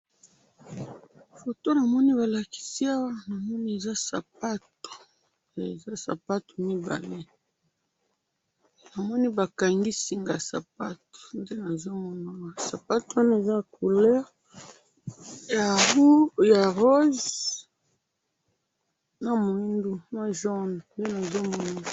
Photo namoni balakisi Awa, bamoni eza sapato. Eza sapato mibale. Namoni bakangi singa ya sapato. Nde nazomona awa. Sapato Oyo eza na couleur ya rose na muindu na jaune.